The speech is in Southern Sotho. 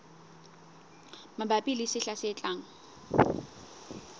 mabapi le sehla se tlang